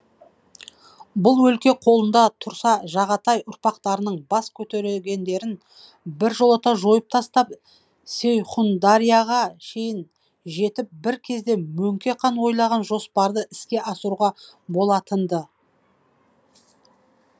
бұл өлке қолында тұрса жағатай ұрпақтарының бас көтерегендерін біржолата жойып тастап сейхүндарияға шейін жетіп бір кезде мөңке хан ойлаған жоспарды іске асыруға болатын ды